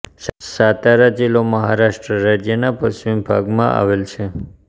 સાતારા જિલ્લો મહારાષ્ટ્ર રાજ્યના પશ્ચિમ ભાગમાં આવેલ છે